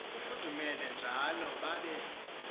kufudumele njalo babe